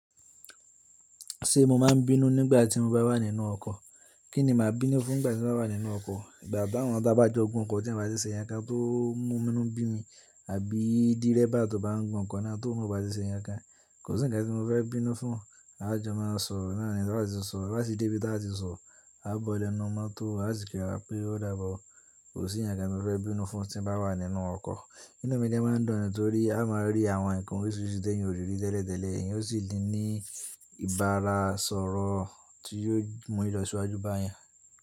Ṣé mo máa ń bínú nígbà tí mo bá wà nínú ọkọ̀? Kí ni màá bínú fún nígbà tí mo bá wà nínú ọkọ̀? Ìgbà tí àwọn tá bá jọ gùn ọkọ̀ tí wọ́n bá ṣe yẹn ká tó mú inú bimi, àbí dírébà tó bá ń gùn ọkọ̀ náà tí oun ná ó bá ti ṣe ǹkankan. Kò sí ǹkan tí mo fẹ́ bínú fún. A jọ máa sọ̀rọ̀, náà ni tí wọ́n bá ti ń sọ̀rọ̀, bá sì dé ibi tí wọ́n á ti ń sọ̀rọ̀, a bọ̀ lọ inú mọ́tò a sì kí ra pé ó dàbọ̀. Kò sí ǹkan tí mo fẹ́ bínú fún tí mo bá wà nínú ọkọ̀. Inú gan ma n dùn ni nítorí a máa rí àwọn ǹkan oríṣiríṣi tí èyàn orí riri tẹ́lẹ̀tẹ́lẹ̀, èyí ó sì ní ìbára sọ̀rọ̀ tí yóò mú mi lọ sí iwájú báyan.